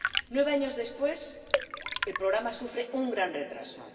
Nueve años después, el programa sufre un gran retraso.